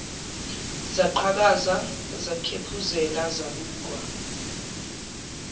zaqhakaza zakhephuzela zabukwa